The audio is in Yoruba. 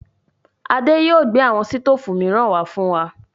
Adé yìí ó gbé àwọn sítoòfù miran wá fún wa.